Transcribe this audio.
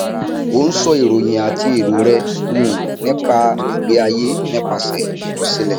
ó ń sọ ìròyìn àti èrò rẹ um nípa ìgbé ayé nípasẹ ìkọsílẹ